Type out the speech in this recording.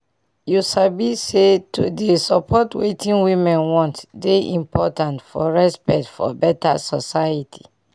you sabi say to dey support wetin women want dey important for respect for beta society